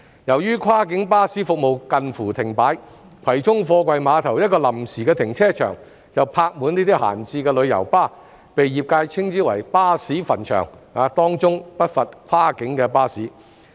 由於跨境巴士服務近乎停擺，葵涌貨櫃碼頭一個臨時停車場便泊滿這些閒置的旅遊巴，被業界稱之為"巴士墳場"，當中不乏跨境巴士。